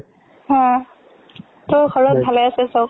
অ, তোৰ ঘৰত ভালে আছে চৱ?